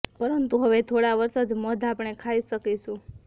પરંતુ હવે થોડા વર્ષ જ મધ આપણે ખાઈ શકીશું